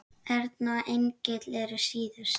Erna og Engill eru síðust.